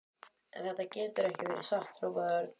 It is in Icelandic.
En þetta getur ekki verið satt hrópaði Örn.